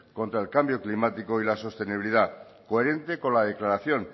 contra el cambio climático y la sostenibilidad coherente con la declaración